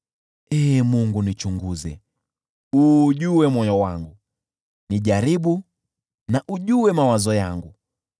Ee Mungu, nichunguze, uujue moyo wangu, nijaribu na ujue mawazo yangu.